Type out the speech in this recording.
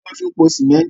Omi lọ fi po símẹ́ntí.